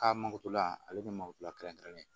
K'a makotula ale ni malo turɛn kɛrɛnnen